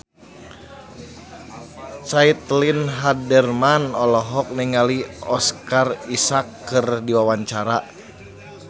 Caitlin Halderman olohok ningali Oscar Isaac keur diwawancara